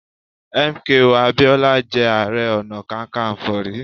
M. K. O. Abiola jẹ́ Ààrẹ Ọ̀nà Kakaǹfò rí.